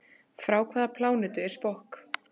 Frá hvaða plánetu er Spock?